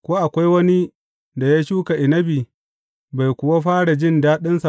Ko akwai wani da ya shuka inabi, bai kuwa fara jin daɗinsa ba?